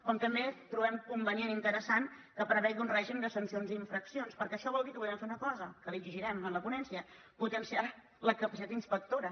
com també trobem convenient i interessant que prevegi un règim de sancions i infraccions perquè això vol dir que podrem fer una cosa que l’exigirem en la ponència potenciar la capacitat inspectora